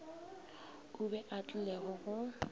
o be a tlile go